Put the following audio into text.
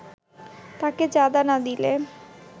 তাকে চাঁদা না দিলে